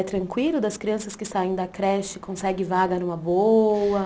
É tranquilo das crianças que saem da creche, conseguem vaga numa boa?